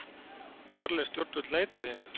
Þarlend stjórnvöld neita því hins vegar